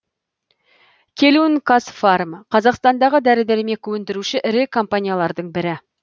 келун казфарм қазақстандағы дәрі дәрмек өндіруші ірі компаниялардың бірі